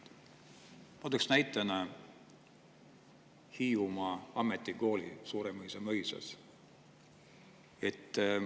Ma tooks näitena Hiiumaa ametikooli Suuremõisa mõisas.